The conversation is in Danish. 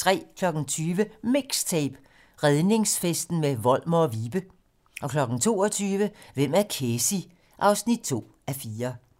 20:00: MIXTAPE - Redningsfesten med Volmer & Vibe 22:00: Hvem er Kesi? 2:4